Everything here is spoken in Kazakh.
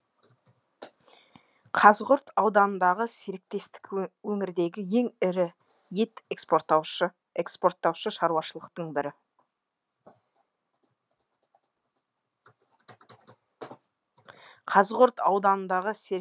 қазығұрт ауданындағы серіктестік өңірдегі ең ірі ет экспорттаушы шаруашылықтың бірі қазығұрт ауданындағы серік